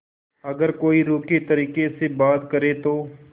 अगर कोई रूखे तरीके से बात करे तो